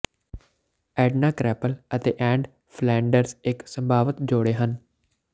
Edna Krabappel ਅਤੇ Ned Flanders ਇੱਕ ਸੰਭਾਵਤ ਜੋੜੇ ਹਨ